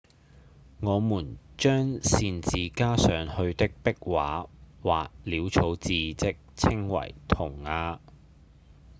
我們將擅自加上去的壁畫或潦草字跡稱為塗鴉